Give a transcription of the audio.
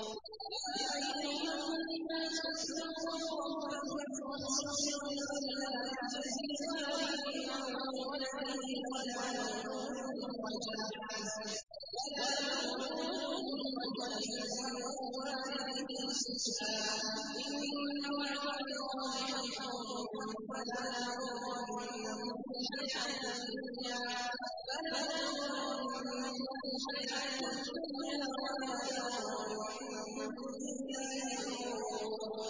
يَا أَيُّهَا النَّاسُ اتَّقُوا رَبَّكُمْ وَاخْشَوْا يَوْمًا لَّا يَجْزِي وَالِدٌ عَن وَلَدِهِ وَلَا مَوْلُودٌ هُوَ جَازٍ عَن وَالِدِهِ شَيْئًا ۚ إِنَّ وَعْدَ اللَّهِ حَقٌّ ۖ فَلَا تَغُرَّنَّكُمُ الْحَيَاةُ الدُّنْيَا وَلَا يَغُرَّنَّكُم بِاللَّهِ الْغَرُورُ